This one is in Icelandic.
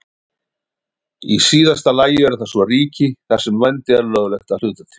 Í síðasta lagi eru það svo ríki þar sem vændi er löglegt að hluta til.